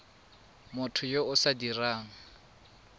motho yo o sa dirang